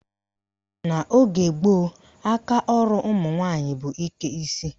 N' ogee gboo, akaọrụ ụmụnwaanyị bụ ike isi.